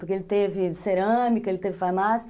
Porque ele teve cerâmica, ele teve farmácia.